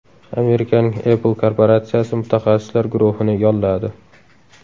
Amerikaning Apple korporatsiyasi mutaxassislar guruhini yolladi.